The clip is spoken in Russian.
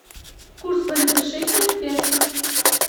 курс валюты шекеля к песо